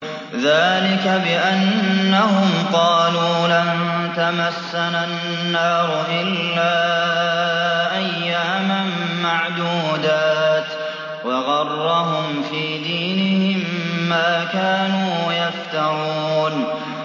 ذَٰلِكَ بِأَنَّهُمْ قَالُوا لَن تَمَسَّنَا النَّارُ إِلَّا أَيَّامًا مَّعْدُودَاتٍ ۖ وَغَرَّهُمْ فِي دِينِهِم مَّا كَانُوا يَفْتَرُونَ